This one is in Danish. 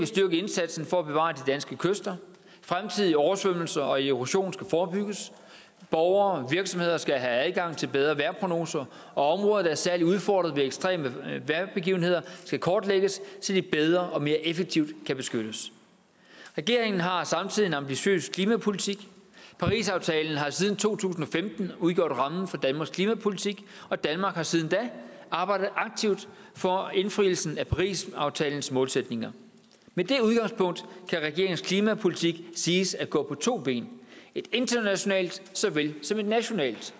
styrke indsatsen for at bevare de danske kyster fremtidige oversvømmelser og erosion skal forebygges borgere virksomheder skal have adgang til bedre vejrprognoser og områder der er særligt udfordret ved ekstreme vejrbegivenheder skal kortlægges så de bedre og mere effektivt kan beskyttes regeringen har samtidig en ambitiøs klimapolitik parisaftalen har siden to tusind og femten udgjort rammen for danmarks klimapolitik og danmark har siden da arbejdet aktivt for indfrielse af parisaftalens målsætninger med det udgangspunkt kan regeringens klimapolitik siges at gå på to ben et internationalt såvel som et nationalt